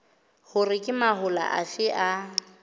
hore ke mahola afe a